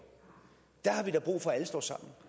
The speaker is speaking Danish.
er der da brug for at alle står sammen